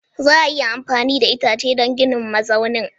Za a iya amfani da itace don ginin mazaunin?